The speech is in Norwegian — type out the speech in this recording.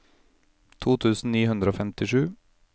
to tusen ni hundre og femtisju